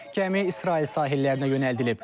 Gəmi İsrail sahillərinə yönəldilib.